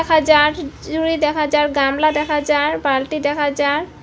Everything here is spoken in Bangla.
যার ঝুড়ি দেখা যার গামলা দেখা যার বালটি দেখা যার ।